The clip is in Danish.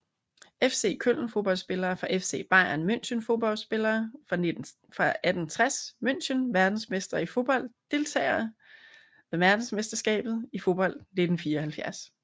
FC Köln Fodboldspillere fra FC Bayern München Fodboldspillere fra 1860 München Verdensmestre i fodbold Deltagere ved verdensmesterskabet i fodbold 1974